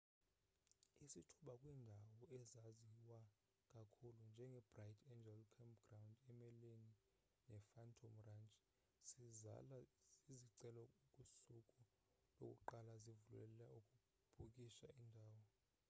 isithuba kwiindawo ezaziwa kakhulu njengebright angel campground emelene nephantom ranch sizala zizicelo kusuku lokuqala zivulelel ukubhukisha indawo